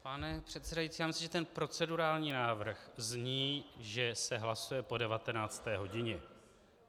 Pane předsedající, já myslel, že ten procedurální návrh zní, že se hlasuje po 19. hodině.